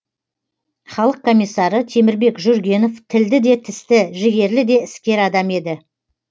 халық комиссары темірбек жүргенов тілді де тісті жігерлі де іскер адам еді